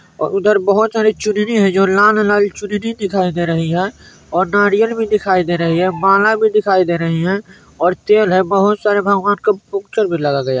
और उधर बहुत सारी चुनरी हैं जो लाल लाल चुनरी दिखाई दे रही है और नारियल भी दिखाई दे रहे हैं माला भी दिखाई दे रही है और तेल है बहुत सारे भगवानों की पोस्टर लगा गया --